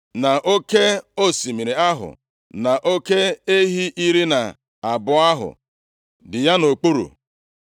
na Oke osimiri ahụ na oke ehi iri na abụọ ahụ dị ya nʼokpuru;